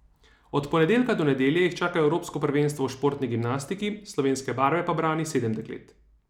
Od ponedeljka do nedelje jih čaka evropsko prvenstvo v športni gimnastiki, slovenske barve pa brani sedem deklet.